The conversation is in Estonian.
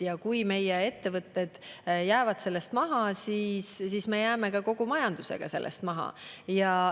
Ja kui meie ettevõtted jäävad sellest maha, siis me jääme kogu majandusega sellest maha.